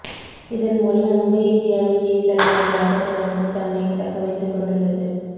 இதன் மூலம் மும்பை இந்தியாவின் நிதி தலைநகராக தொடர்ந்து தன்னை தக்க வைத்துக் கொண்டுள்ளது